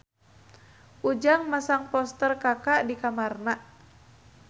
Ujang masang poster Kaka di kamarna